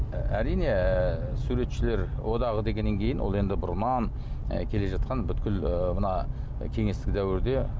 ы әрине ыыы суретшілер одағы дегеннен кейін ол енді бұрыннан ы келе жатқан бүкіл ы мына кеңестік дәуірде